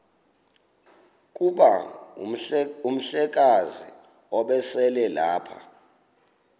kuba umhlekazi ubeselelapha